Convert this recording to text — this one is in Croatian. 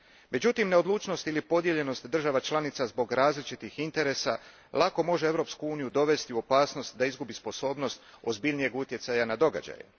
Međutim, neodlučnost ili podijeljenost država članica zbog različitih interesa lako može Europsku uniju dovesti u opasnost da izgubi sposobnost ozbiljnijeg utjecaja na događaje.